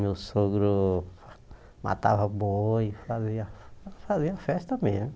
Meu sogro matava boi, fazia fazia festa mesmo.